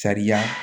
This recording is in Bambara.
Sariya